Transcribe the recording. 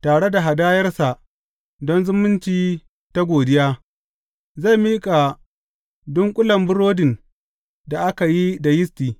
Tare da hadayarsa don zumunci ta godiya, zai miƙa dunƙulen burodin da aka yi da yisti.